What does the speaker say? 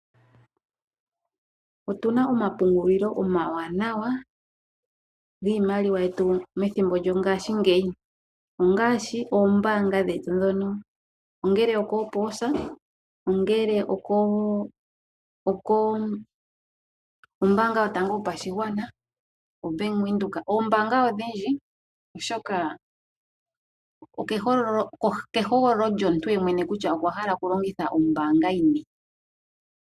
Otu na omapungulilo omawanawa giimaliwa yetu methimbo lyongashingeyi. Ongaashi oombaanga dhetu ndhono, ongele okoopoosa, okombaanga yotango yopashigwana nenge oBank Windhoek. Oombaanga odhindji okehogolololyomuntu ye mwene kutya okwa hala okulongitha ombaanga yini.